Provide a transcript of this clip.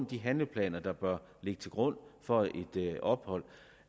de handleplaner der bør ligge til grund for et ophold